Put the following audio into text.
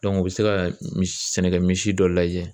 u bɛ se ka misi sɛnɛkɛ misi dɔ lajɛ